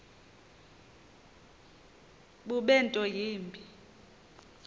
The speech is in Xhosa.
bube nto yimbi